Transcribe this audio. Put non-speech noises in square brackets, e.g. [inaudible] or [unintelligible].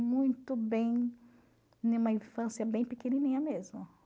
Muito bem [unintelligible] infância bem pequenininha mesmo